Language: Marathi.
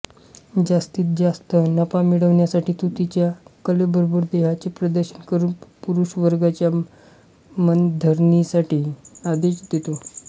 जास्तीत जास्त नफा मिळवण्यासाठी तो तिच्या कलेबरोबर देहाचे प्रदर्शन करून पुरुषवर्गाच्या मनधरणीसाठी आदेश देतो